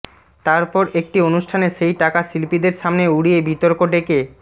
তারপর একটি অনুষ্ঠানে সেই টাকা শিল্পীদের সামনে উড়িয়ে বিতর্ক ডেকে